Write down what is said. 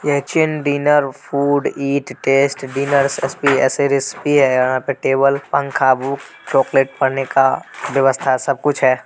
Kitchen dinner food eat test dinner यहाँ पे table पंखा बुक चॉकलेट पढ़ने का व्यवस्था सब कुछ है।